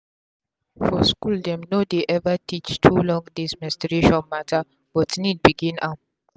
for school dem no dey ever teach too long days menstruation matter but need begin am.